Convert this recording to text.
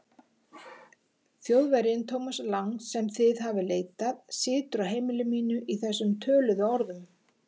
Þjóðverjinn, Thomas Lang, sem þið hafið leitað, situr á heimili mínu í þessum töluðu orðum.